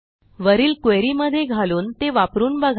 वरील क्वेरी मध्ये घालून ते वापरून बघा